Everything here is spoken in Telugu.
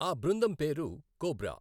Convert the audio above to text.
ఆ బృందం పేరు కోబ్రా.